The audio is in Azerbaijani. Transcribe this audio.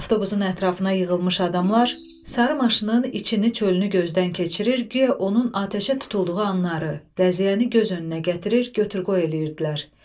Avtobusun ətrafına yığılmış adamlar sarı maşının içini-çölünü gözdən keçirir, guya onun atəşə tutulduğu anları, qəziyəni göz önünə gətirir, götür-qoy eləyirdilər.